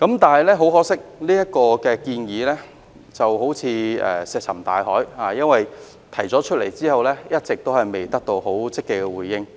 但很可惜，這建議仿如石沉大海，因為提出來後，一直沒有得到政府積極的回應。